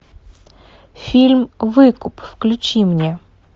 фильм выкуп включи мне